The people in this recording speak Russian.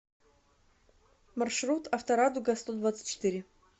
маршрут авторадугастодвадцатьчетыре